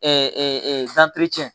Ɛɛ